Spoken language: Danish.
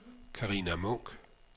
Carina Munk